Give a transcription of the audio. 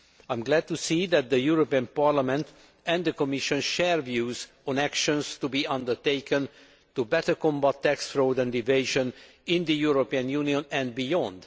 I am glad to see that the European Parliament and the Commission share views on the action to be undertaken to better combat tax fraud and evasion in the European Union and beyond.